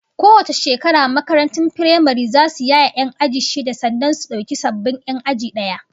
Kowace shekara makarantun firamare zasu yaye 'yan aji shida sannan su dauki sababbin 'yan aji daya